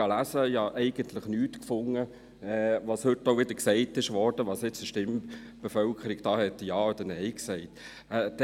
Ich fand eigentlich nichts von dem, was heute wieder gesagt wurde, wozu die Stimmbeteiligten Ja oder Nein sagten.